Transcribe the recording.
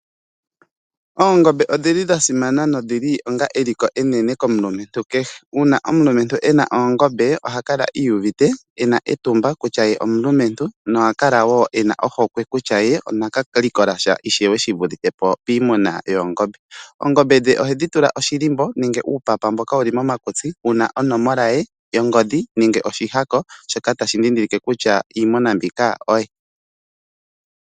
Oongombe odhili dha simana na odhili eliko enene komulumentu kehe. Uuna omulumentu ena oongombe, oha kala iiyuvite ena etumba kutya ye omulumentu na oha kala wo ena ohokwe kutya ye onaka likolasha ishewe shivulithe po piimuna yoongombe. Oongombe dhe ohedhi tula oshilimbo nenge uupapa mboka wuli komakutsi, wuna onomola ye yongodhi nenge oshihako shoka tashi dhidhilike kutya iimuna mbyoka oye.